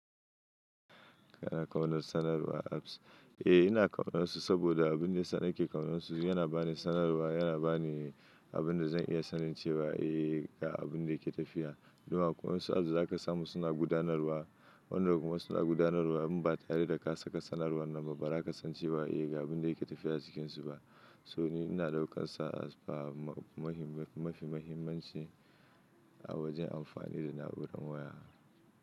Eh ina ƙaunansu, saboda abin da yasa nake ƙaunansu, yana bani sanarwa, yana bani abin da zan iya sanin cewa eh ga abin da yake tafiya. Dun akwai wasu ads da za ka samu suna gudanarwa, wannan kuma suna gudanarwa in ba tare da ka saka sanarwan nan ba, ba za ka san cewa eh ga abin da yake tafiya cikinsu ba. To ni ina ɗaukar sa, as per mafi mahimmanci, a wajen amfani da na'urar waya.